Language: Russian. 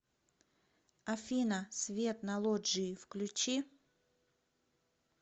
афина свет на лоджии включи